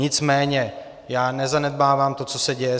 Nicméně já nezanedbávám to, co se děje.